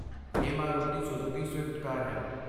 ਇਹ Maruti Suzuki Swift car ਹੈ।